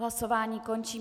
Hlasování končím.